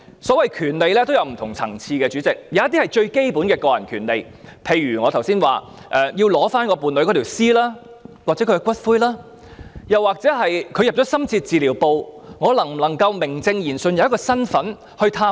所謂權利也有很多不同層次，有些是最基本的個人權利，例如剛才所說要領回伴侶的屍體或骨灰，又或當伴侶身處深切治療部時，能否名正言順地有一個身份入內探望？